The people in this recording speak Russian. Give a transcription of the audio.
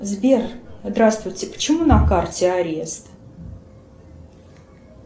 сбер здравствуйте почему на карте арест